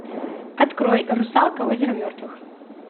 открой русалка озеро мертвых